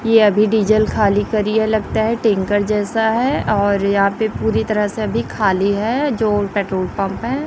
यह अभी डीजल खाली करी है लगता है टैंकर जैसा है और यहां पे पूरी तरह से अभी खाली है जो पेट्रोल पंप है।